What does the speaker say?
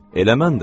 Elə mən də.